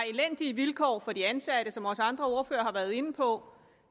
elendige vilkår for de ansatte som også andre ordførere har været inde på